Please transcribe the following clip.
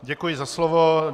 Děkuji za slovo.